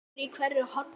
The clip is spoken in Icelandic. skellur í hverju horni.